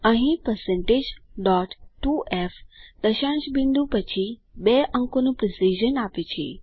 અહીં160 2f દશાંશ બિંદુ પછી બે અંકોનું પ્રેસીઝન આપે છે